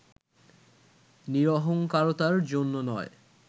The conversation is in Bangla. নিরহঙ্কারতার জন্যও নয়